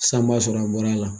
Sisan b'a sɔrɔ a bɔra a la.